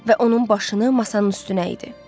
Və onun başını masanın üstünə idi.